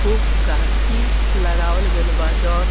खूब गाछी लगावल गेल बा जोन --